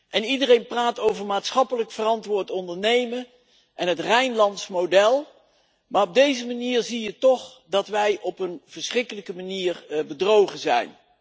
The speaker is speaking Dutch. En iedereen praat over maatschappelijk verantwoord ondernemen en het Rijnlandse model, maar op deze manier zie je toch dat wij op een verschrikkelijke manier bedrogen zijn.